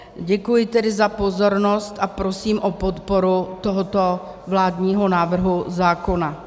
Děkuji tedy za pozornost a prosím o podporu tohoto vládního návrhu zákona.